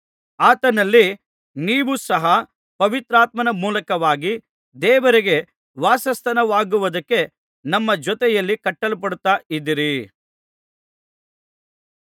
ಆತನಲ್ಲಿ ನೀವೂ ಸಹ ಪವಿತ್ರಾತ್ಮನ ಮೂಲಕವಾಗಿ ದೇವರಿಗೆ ವಾಸಸ್ಥಾನವಾಗುವುದಕ್ಕೆ ನಮ್ಮ ಜೊತೆಯಲ್ಲಿ ಕಟ್ಟಲ್ಪಡುತ್ತಾ ಇದ್ದೀರಿ